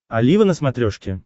олива на смотрешке